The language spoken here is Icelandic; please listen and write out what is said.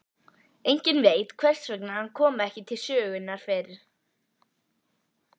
Enginn veit hvers vegna hann kom ekki til sögunnar fyrr.